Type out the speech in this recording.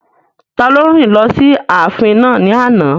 Taló rìn lọ sí ààfin náà ní àná?